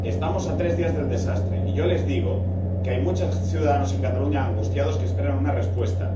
Estamos a tres días del desastre, y yo les digo que hay muchos ciudadanos en Cataluña angustiados que esperan una respuesta.